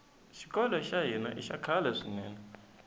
xikolo xa hina ixa khale swinene